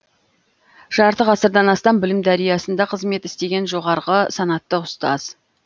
жарты ғасырдан астам білім дариясында қызмет істеген жоғарғы санатты ұстаз